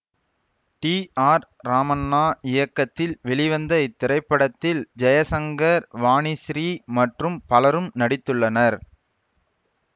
D R Ramanna இயக்கத்தில் வெளிவந்த இத்திரைப்படத்தில் ஜெய்சங்கர் வாணிஸ்ரீ மற்றும் பலரும் நடித்துள்ளனர்